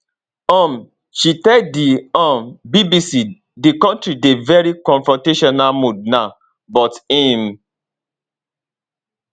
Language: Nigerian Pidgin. um she tell di um bbc di kontri dey veri confrontational mood now but im